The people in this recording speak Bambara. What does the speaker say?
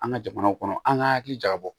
An ka jamanaw kɔnɔ an ka hakili jagabɔ